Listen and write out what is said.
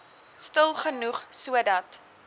stil genoeg sodat